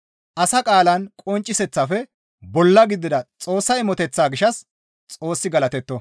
Asa qaalan qoncciseththafe bolla gidida Xoossa imoteththaa gishshas Xoossi galatetto.